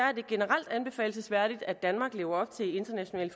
er det generelt anbefalelsesværdigt at danmark lever op til internationale